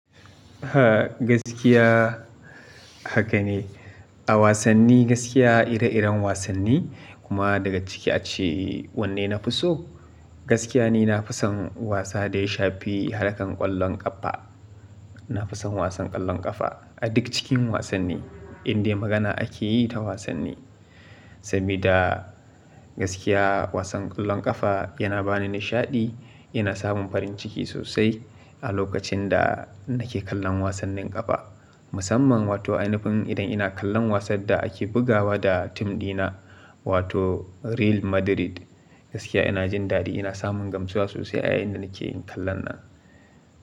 A gaskiya haka ne. A wasanni gaskiya ire-iren wasanni kuma daga ciki ace wanne na fi so. Gaskiya ni na fi son wasa da ya shafi harkan ƙwallon ƙafa. Na fi son wasan ƙwallon ƙafa, a duk cikin wassani indai magana ake yi ta wasaani. Sabida gaskiya wasan ƙwallon ƙafa yana bani nishaɗi, ina samun farin ciki sosai a lokacin da nake kallon wasannin ƙafa. Musamman wato ainifin idan ina kallon wasan da ake bugawa da tim ɗina wato Real Madrid, gaskiya ina jin dadi ina samun gamsuwa sosai a yayin da nake kallon nan.